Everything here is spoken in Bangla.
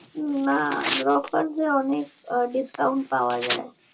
না গ্রফার্সে অনেক আহ discount পাওয়া যায়